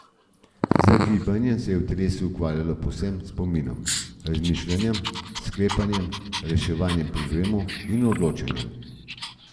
Z gibanjem se v telesu ustvarjajo povezave s spominom, razmišljanjem, sklepanjem, reševanjem problemov in odločanjem.